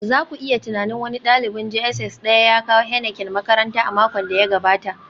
za ku iya tunanin, wani dalibin JSS Daya ya kawo Heineken makaranta a makon da ya gabata